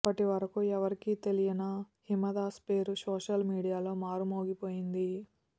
అప్పటి వరకు ఎవరికీ తెలియన హిమదాస్ పేరు సోషల్ మీడియాలో మారు మోగిపోయింది